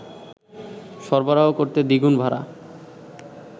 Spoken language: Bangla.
সরবরাহ করতে দ্বিগুণ ভাড়া